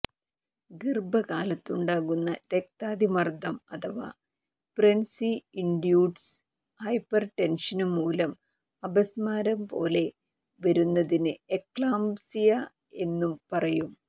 ഗര്ഭകാലത്തുണ്ടാകുന്ന രക്താതിമര്ദ്ദം അഥവാ pregnancy induced hypertension മൂലം അപസ്മാരംപോലെ വരുന്നതിന് എക്ലാമ്പ്സിയ എന്നു പറയും